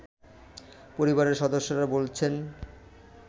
পরিবারের সদস্যরা বলছেন